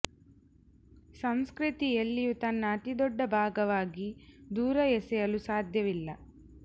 ಸಂಸ್ಕೃತಿ ಎಲ್ಲಿಯೂ ತನ್ನ ಅತಿ ದೊಡ್ಡ ಭಾಗವಾಗಿ ದೂರ ಎಸೆಯಲು ಸಾಧ್ಯವಿಲ್ಲ